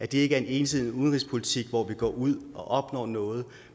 det ikke er en ensidig udenrigspolitik hvor vi går ud og opnår noget